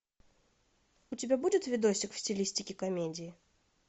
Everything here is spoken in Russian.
у тебя будет видосик в стилистике комедии